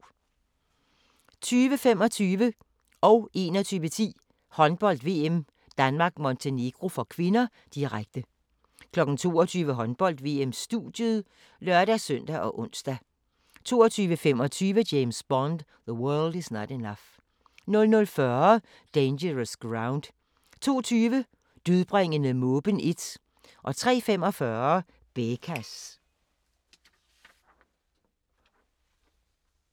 20:25: Håndbold: VM - Danmark-Montenegro (k), direkte 21:10: Håndbold: VM - Danmark-Montenegro (k), direkte 22:00: Håndbold: VM - studiet (lør-søn og ons) 22:25: James Bond: The World Is Not Enough 00:40: Dangerous Ground 02:20: Dødbringende måben 1 03:45: Bekas